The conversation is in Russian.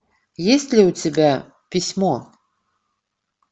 есть ли у тебя письмо